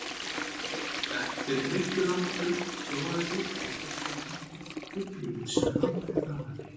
Eftir drykklanga stund róaðist ég og tók þá eftir Biblíunni sem lá fyrir framan mig.